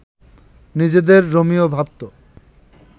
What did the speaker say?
নিজেদের রোমিও ভাবত